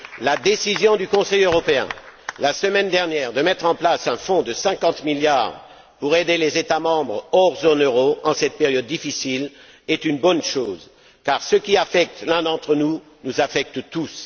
La décision du Conseil européen, la semaine dernière, de mettre en place un fonds de 50 milliards pour aider les États membres hors zone euro en cette période difficile est une bonne chose, car ce qui affecte l'un d'entre nous nous affecte tous.